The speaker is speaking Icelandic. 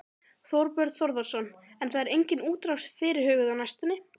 Þorbjörn Þórðarson: En það er engin útrás fyrirhuguð á næstunni?